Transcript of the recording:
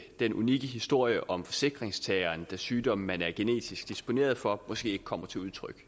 den unikke historie om forsikringstageren da sygdommen man er genetisk disponeret for måske ikke kommer til udtryk